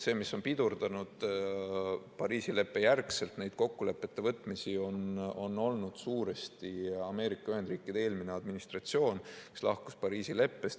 See, mis on pidurdanud Pariisi leppe järgselt neid kokkulepete võtmisi, on olnud suuresti Ameerika Ühendriikide eelmine administratsioon, kes lahkus Pariisi leppest.